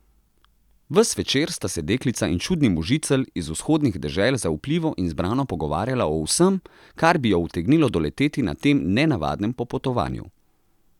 Ves večer sta se deklica in čudni možicelj iz vzhodnih dežel zaupljivo in zbrano pogovarjala o vsem, kar bi jo utegnilo doleteti na tem nenavadnem popotovanju.